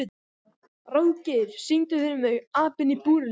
Ráðgeir, syngdu fyrir mig „Apinn í búrinu“.